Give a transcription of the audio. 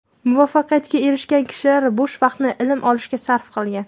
Muvaffaqiyatga erishgan kishilar bo‘sh vaqtini ilm olishga sarf qilgan.